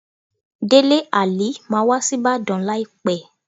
Délé Àlí máa wá sí Ìbàdàn láìpẹ́.